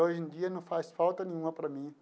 Hoje em dia, não faz falta nenhuma para mim.